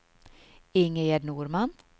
Ingegerd Norman